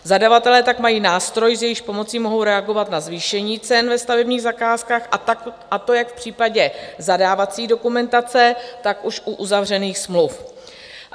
Zadavatelé tak mají nástroj, s jehož pomocí mohou reagovat na zvýšení cen ve stavebních zakázkách, a to jak v případě zadávací dokumentace, tak už u uzavřených smluv.